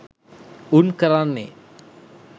උන් කරන්නේ